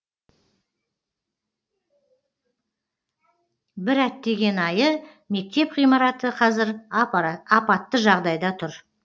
бір әттеген айы мектеп ғимараты қазір апатты жағдайда тұр